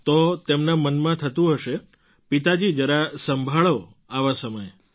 તો તેમના મનમાં થતું હશે પિતાજી જરા સંભાળો આવા સમયે